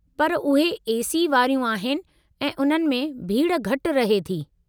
पर उहे ए.सी. वारियूं आहिनि ऐं उन्हनि में भीड़ घटि रहे थी।